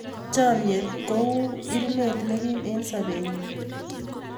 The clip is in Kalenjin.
Chomye ng'ung' kou irimet ne kim eng' sobenyu.